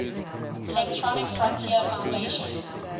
electronic frontier foundation